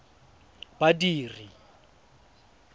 badiri